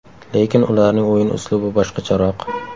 Lekin ularning o‘yin uslubi boshqacharoq.